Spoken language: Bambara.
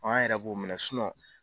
An yɛrɛ b'o minɛ